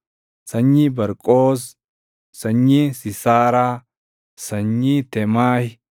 sanyii Barqoos, sanyii Siisaaraa, sanyii Teemahi,